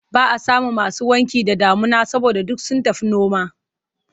Ba a samun masu wanki da damuna saboda duk sun tafi noma.